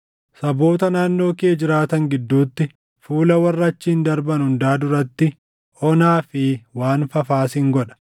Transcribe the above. “Saboota naannoo kee jiraatan gidduutti fuula warra achiin darban hundaa duratti onaa fi waan fafaa sin godha.